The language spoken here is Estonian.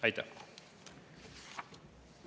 Aitäh!